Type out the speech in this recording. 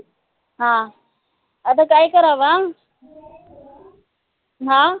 हा आता काय करावा? हा